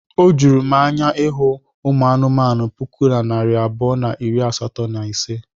Ọ juru m anya ịhụ ụmụ anụmanụ puku na narị abụọ na iri asatọ na ise.